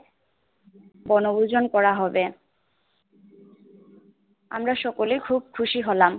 বনভূজন করা হবে আমরা সকলে খুব খুশি হলাম